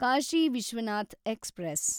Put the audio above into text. Kashi Vishwanath express